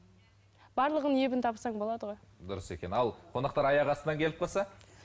барлығын ебін тапсаң болады ғой дұрыс екен ал қонақтар аяқ астынан келіп қалса